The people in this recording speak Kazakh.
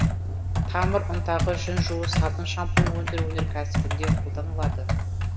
тамыр ұнтағы жүн жуу сабын шампунь өндіру өнеркәсібінде қолданылады